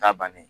Ta bannen